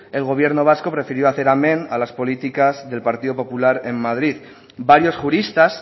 el gobierno vasco prefirió hacer amen a las políticas del partido popular en madrid varios juristas